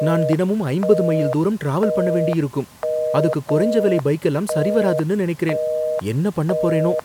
நான் தினமும் ஐம்பது மைல் தூரம் டிராவல் பண்ண வேண்டியிருக்கும், அதுக்கு குறைஞ்ச விலை பைக்கெல்லாம் சரி வராதுன்னு நினைக்கிறேன். என்ன பண்ணப் போறேனோ